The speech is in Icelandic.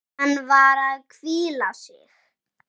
Hann var að hvíla sig.